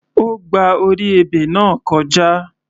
Ó gba orí ebè náà kọjá.